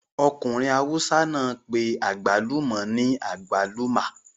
Ọkùnrin awùsá náà pé àgbálùmọ̀ ní agwaluma